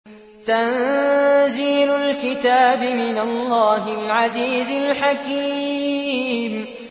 تَنزِيلُ الْكِتَابِ مِنَ اللَّهِ الْعَزِيزِ الْحَكِيمِ